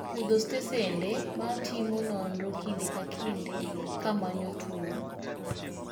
Chutho stesende ma timo nonro kinde ka kinde kamanyo tuo.